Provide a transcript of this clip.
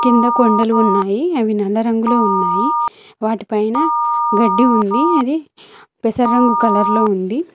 కింద కొండలు ఉన్నాయి అవి నల్ల రంగులో ఉన్నాయి వాటిపైన గడ్డి ఉంది అది పెసరంగు కలర్ లో ఉంది.